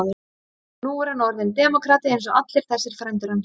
Og nú er hann orðinn demókrati eins og allir þessir frændur hans.